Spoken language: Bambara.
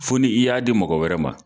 Fo ni i y'a di mɔgɔ wɛrɛ ma